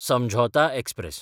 समझौता एक्सप्रॅस